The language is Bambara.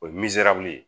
O ye nizeri ye